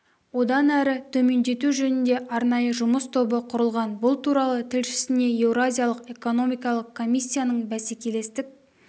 одан әрі төмендету жөнінде арнайы жұмыс тобы құрылған бұл туралы тілшісіне еуразиялық экономикалық комиссияның бәсекелестік